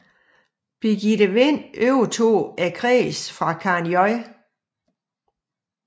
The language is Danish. Birgitte Vind overtog kredsen fra Karen J